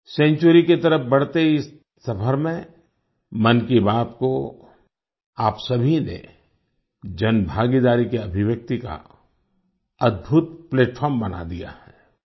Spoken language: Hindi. सेंचुरी की तरफ बढ़ते इस सफर में मन की बात को आप सभी ने जनभागीदारी की अभिव्यक्ति का अद्भुत प्लैटफार्म बना दिया है